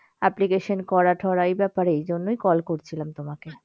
Application করা ঠোরা এই ব্যাপারে, এই জন্যই call করছিলাম তোমাকে।